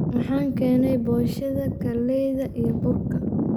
Waxan keeney poshada kaleyta iyo burka.